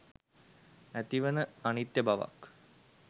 ඇතිවන අනිත්‍ය බවක්